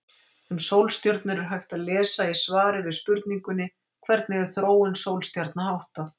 Um sólstjörnur er hægt að lesa í svari við spurningunni Hvernig er þróun sólstjarna háttað?